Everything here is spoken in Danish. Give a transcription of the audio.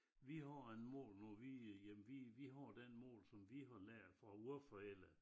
Vi har en mål nu vi øh jamen vi vi har den mål som vi har lært fra vor forældre